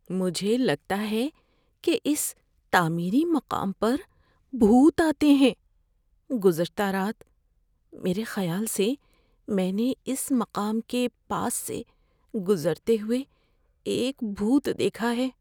مجھے لگتا ہے کہ اس تعمیری مقام پر بھوت آتے ہیں۔ گزشتہ رات میرے خیال سے میں نے اس مقام کے پاس سے گزرتے ہوئے ایک بھوت دیکھا ہے۔